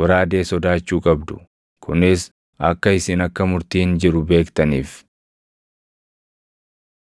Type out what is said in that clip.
goraadee sodaachuu qabdu; kunis akka isin akka murtiin jiru beektaniif.”